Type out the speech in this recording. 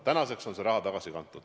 Tänaseks on see raha tagasi kantud.